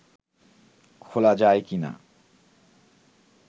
খোলা যায় কি না